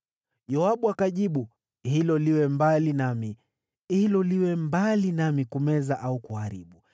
Yoabu akajibu, “Hilo liwe mbali nami. Hilo liwe mbali nami kumeza au kuharibu.